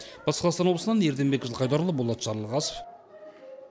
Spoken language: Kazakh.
батыс қазақстан облысынан ерденбек жылқайдарұлы болат жарылғасов